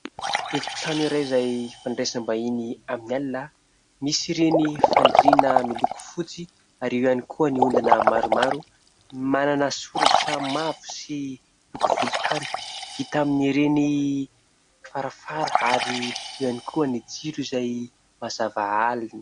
Efitrano iray izay fandraisam-bahiny amin'ny alina misy ireny fandriana miloko fotsy ary eo ihany koa ny ondana maromaro manana soratra mavo sy loko volontany vita amin'ireny farafara ary eo ihany koa ny jiro izay mazava alina.